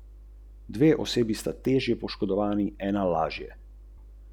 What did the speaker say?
Žal se družba, v kateri živimo, ne bo in tudi ne more spremeniti, če se le pritožujemo.